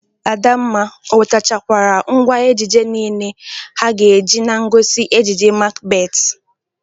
Adamma, o wetachakwara ngwa ejije niile ha ga-eji na ngosi ejije Makbet?